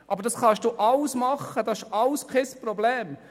Dies alles können Sie tun, es ist alles kein Problem.